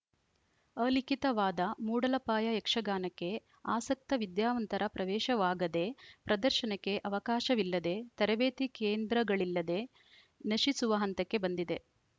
ಅಲಿಖಿತವಾದ ಮೂಡಲಪಾಯ ಯಕ್ಷಗಾನಕ್ಕೆ ಆಸಕ್ತ ವಿದ್ಯಾವಂತರ ಪ್ರವೇಶವಾಗದೆ ಪ್ರದರ್ಶನಕ್ಕೆ ಅವಕಾಶವಿಲ್ಲದೆ ತರಬೇತಿ ಕೇಂದ್ರಗಳಿಲ್ಲದೆ ನಶಿಸುವ ಹಂತಕ್ಕೆ ಬಂದಿದೆ